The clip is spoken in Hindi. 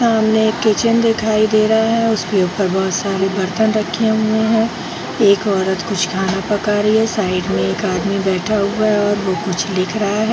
सामने एक किचेन दिखाई दे रहा है उसके ऊपर बहुत सारे बर्तन रखे हुए है एक औरत कुछ खाना पका रही है साइड में एक आदमी बैठा हुआ है और वो कुछ लिख रहा है।